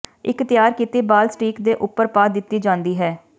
ਇੱਕ ਤਿਆਰ ਕੀਤੀ ਬਾਲ ਸਟੀਕ ਦੇ ਉੱਪਰ ਪਾ ਦਿੱਤੀ ਜਾਂਦੀ ਹੈ